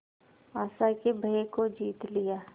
आशा के भय को जीत लिया